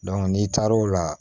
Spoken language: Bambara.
n'i taar'o la